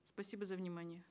спасибо за внимание